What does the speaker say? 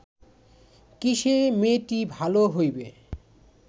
কিসে মেয়েটি ভাল হইবে